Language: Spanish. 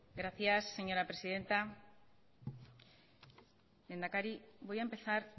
gracias señora presidenta lehendakari voy a empezar